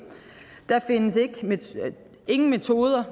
der findes ingen metoder